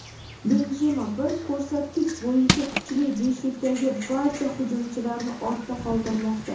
Benzema bir ko‘rsatkich bo‘yicha kuchli beshlikdagi barcha hujumchilarni ortda qoldirmoqda.